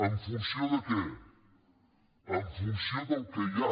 en funció de què en funció del que hi ha